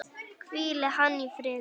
Hvíli hann í friði.